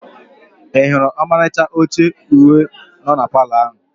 I hụrụ ọmalịcha oche uhie no na Palọ ahụ?